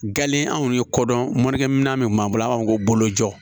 Gale anw ye kodɔn morikɛ minɛn min b'an bolo an b'a fɔ ko bolojɔ jɔ